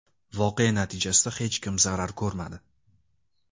Voqea natijasida hech kim zarar ko‘rmadi.